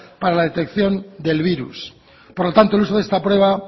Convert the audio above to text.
para la detección del virus por lo tanto el uso de esta prueba